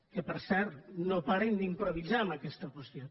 que per cert no paren d’improvisar en aquesta qüestió